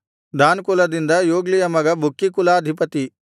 than ಕುಲದಿಂದ ಯೊಗ್ಲೀಯ ಮಗ ಬುಕ್ಕೀ ಕುಲಾಧಿಪತಿ